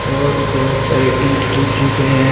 और बहुत सारे ईट जुड़ चुके हैं।